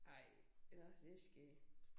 Ej nåh det skægt